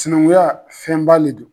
Cinaŋuya fɛnba le don